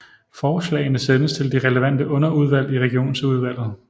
Forslagene sendes til de relevante underudvalg i Regionsudvalget